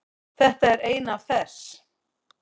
Þetta er ein af þess